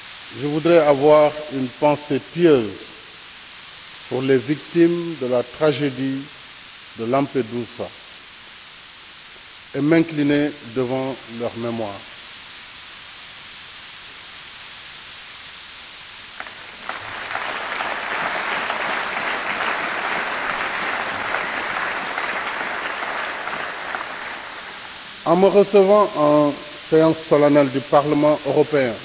je voudrais avoir une pensée pieuse pour les victimes de la tragédie de Lampedusa et m'incliner devant leur mémoire. En me recevant en séance solennelle du Parlement européen,